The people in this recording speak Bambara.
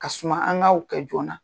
Ka suma, an ka kɛ o joona na.